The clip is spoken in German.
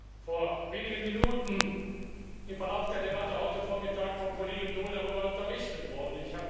Ich bin vor wenigen Minuten, im Verlauf der Debatte heute Vormittag, vom Kollegen Daul darüber unterrichtet worden.